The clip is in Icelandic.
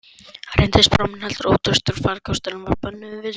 Reyndist pramminn heldur ótraustur farkostur, en varð börnunum vinsælt leikfang.